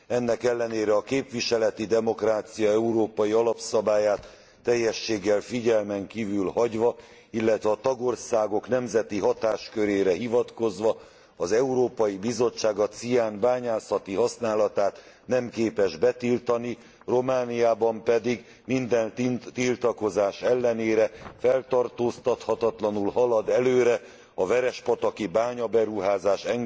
Ennek ellenére a képviseleti demokrácia európai alapszabályát teljességgel figyelmen kívül hagyva, illetve a tagországok nemzeti hatáskörére hivatkozva az Európai Bizottság a cián bányászati használatát nem képes betiltani, Romániában pedig minden tiltakozás ellenére feltartóztathatatlanul halad előre a verespataki bányaberuházás